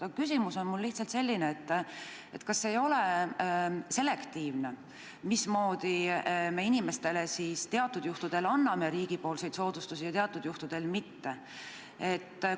Aga küsimus on mul lihtsalt selline: kas ei ole selektiivne, mismoodi me inimestele teatud juhtudel anname riigi poolt soodustusi ja teatud juhtudel mitte?